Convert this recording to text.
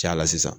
Cayala sisan